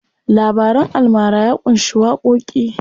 Labaran almara ya ƙunshi waƙoƙi.